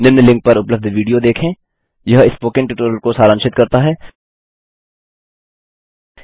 निम्न लिंक पर उपलब्ध विडियो देखेंhttpspoken tutorialorgWhat is a Spoken Tutorial यह स्पोकन ट्यूटोरियल को सारांशित करता है